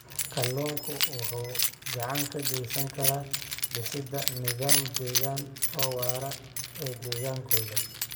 Kalluunku waxa uu gacan ka geysan karaa dhisidda nidaam deegaan oo waara ee deegaankooda.